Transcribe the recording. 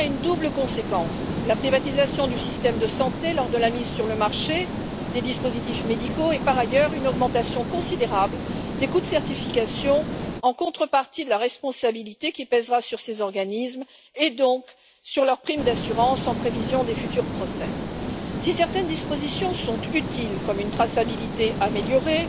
Les conséquences sont alors doubles la privatisation du système de santé lors de la mise sur le marché des dispositifs médicaux et, par ailleurs, une augmentation considérable des coûts de certification en contrepartie de la responsabilité qui pèsera sur ces organismes et donc sur leur prime d'assurance en prévision des futurs procès. Si certaines dispositions sont utiles, comme une traçabilité améliorée,